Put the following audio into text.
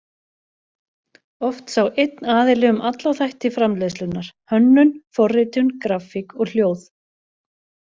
Oft sá einn aðili um alla þætti framleiðslunnar: Hönnun, forritun, grafík og hljóð.